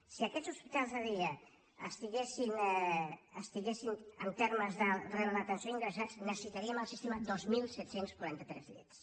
si aquests hospitals de dia estiguessin en termes de rebre l’atenció ingressats necessitaríem al sistema dos mil set cents i quaranta tres llits